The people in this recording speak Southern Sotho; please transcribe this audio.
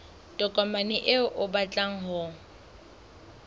tokomane eo o batlang ho